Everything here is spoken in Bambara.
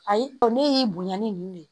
Ayi o ne y'i bonya ni nin de ye